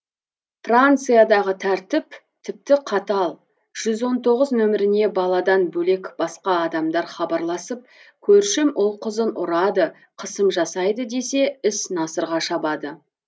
франциядағы тәртіп тіпті қатал жүз он тоғыз нөміріне баладан бөлек басқа адамдар хабарласып көршім ұл қызын ұрады қысым жасайды десе іс насырға шабады